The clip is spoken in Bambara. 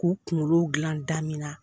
K'u kunkolo dilan damina